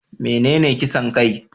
Menene kisan kai?